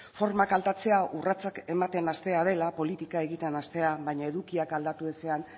formak aldatzea urratsak ematen hastea dela politika egiten hastea baina edukiak aldatu ezean